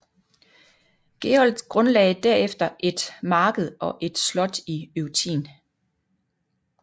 Gerold grundlagde derefter et marked og et slot i Eutin